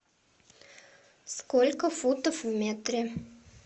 сколько футов в метре